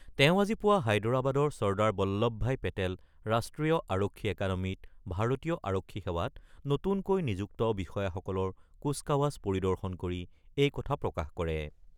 তেওঁ আজি পুৱা হায়দৰাবাদৰ চৰ্দাৰ বল্লভ ভাই পেটেল ৰাষ্ট্ৰীয় আৰক্ষী একাডেমীত ভাৰতীয় আৰক্ষী সেৱাত নতুনকৈ নিযুক্ত বিষয়াসকলৰ কুচকাৱাজ পৰিদৰ্শন কৰি এই কথা প্ৰকাশ কৰে।